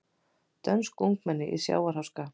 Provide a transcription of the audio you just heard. Dönsk ungmenni í sjávarháska